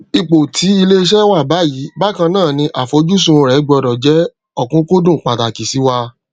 ipò tí ilé iṣé wà báyìí bákannáà ní àfojúsùn rẹ gbọdọ jẹ òkùnkùndùn pàtàkì síwá